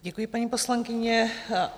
Děkuji, paní poslankyně.